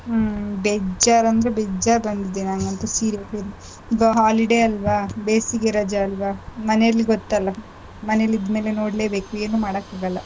ಹ್ಮ್ಬೇಜ್ಜಾರ್ ಅಂದ್ರೆ ಬೇಜ್ಜಾರ್ ಬಂದಿದೆ ನಂಗಂತೂ serial ಈಗ holiday ಅಲ್ವ ಬೇಸಿಗೆ ರಜೆ ಅಲ್ವ ಮನೇಲಿ ಗೊತ್ತಲಾ ಮನೇಲಿದ್ ಮೇಲೆ ನೋಡ್ಲೆ ಬೇಕ್ ಏನು ಮಾಡಕ್ ಆಗಲ್ಲ